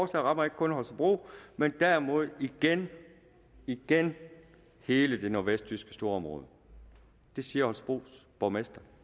rammer ikke kun holstebro men derimod igen igen hele det nordvestjyske storområde det siger holstebros borgmester